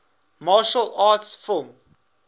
martial arts film